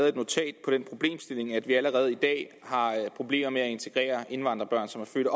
et notat på den problemstilling at vi allerede i dag har problemer med at integrere indvandrerbørn som er født